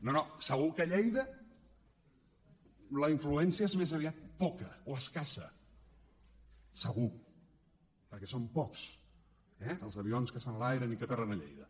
no no segur que a lleida la influència és més aviat poca o escassa segur perquè són pocs eh els avions que s’enlairen i que aterren a lleida